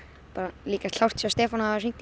líka klárt hjá Stefáni